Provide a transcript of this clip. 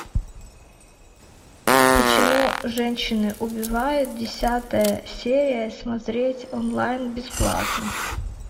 почему женщины убивают десятая серия смотреть онлайн бесплатно